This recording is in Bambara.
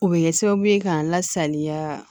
O bɛ kɛ sababu ye ka n lasaliya